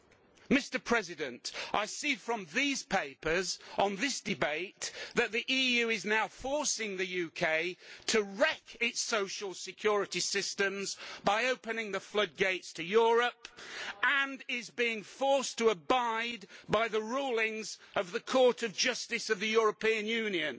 I see from the papers on this debate that the EU is now forcing the UK to wreck its social security systems by opening the floodgates to Europe and the UK is being forced to abide by the rulings of the Court of Justice of the European Union.